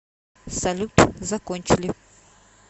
салют закончили